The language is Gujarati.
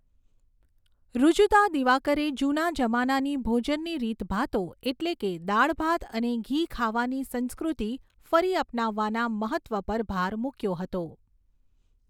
ઋજુતા દિવાકરે જુના જમાનાની ભોજનની રીતભાતો એટલે કે દાળ ભાત અને ઘી ખાવાની સંસ્કૃતિ ફરી અપનાવવાના મહત્ત્વ પર ભાર મૂક્યો હતો.